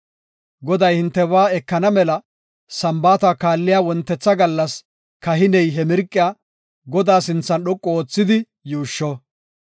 Goday hintebaa ekana mela Sambaata kaalliya wontetha gallas kahiney he mirqiya Godaa sinthan dhoqu oothidi yuushsho.